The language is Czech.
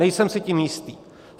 Nejsem si tím jistý.